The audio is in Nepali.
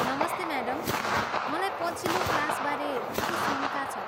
नमस्ते म्याडम, मलाई पछिल्लो क्लासबारे केही शङ्का छ।